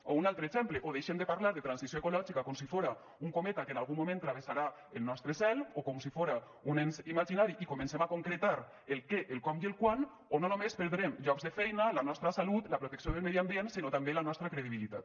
o un altre exemple o deixem de parlar de transició ecològica com si fora un cometa que en algun moment travessarà el nostre cel o com si fora un ens imaginari i comencem a concretar el què el com i el quan o no només perdrem llocs de feina la nostra salut la protecció del medi ambient sinó també la nostra credibilitat